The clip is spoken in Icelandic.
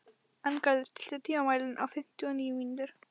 Arngarður, stilltu tímamælinn á fimmtíu og níu mínútur.